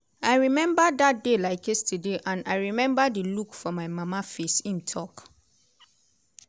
"i remember dat day like yesterday and i remember di look for my mama face" im tok.